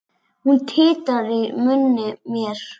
Hún titrar í munni mér.